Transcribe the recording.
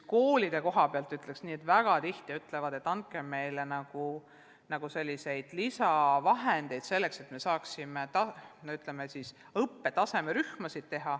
Koolide koha pealt ütleksin nii, et väga tihti palutakse, et andke meile lisavahendeid, et me saaksime õppetasemerühmasid teha.